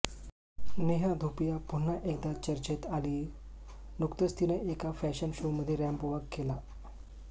नेहा धुपिया पुन्हा एकदा चर्चेत आलीय नुकतंच तिनं एका फॅशन शोमध्ये रॅम्पवॉक केला